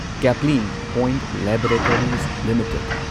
Caplin Point Laboratories limited